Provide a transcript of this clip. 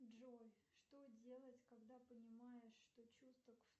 джой что делать когда понимаешь что чувства